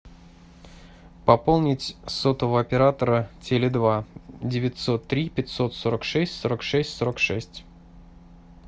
пополнить сотового оператора теле два девятьсот три пятьсот сорок шесть сорок шесть сорок шесть